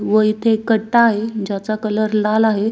व इथे एक कट्टा आहे ज्याचा कलर लाल आहे.